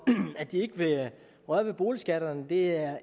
at de ikke vil røre ved boligskatterne det